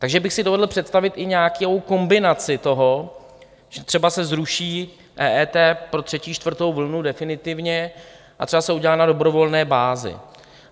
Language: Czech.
Takže bych si dovedl představit i nějakou kombinaci toho, že třeba se zruší EET pro třetí, čtvrtou vlnu definitivně a třeba se udělá na dobrovolné bázi.